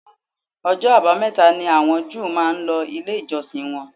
Ọjọ́ àbámẹ̀ta ni àwọn Júù máa ń lọ ilé ìjọsìn wọn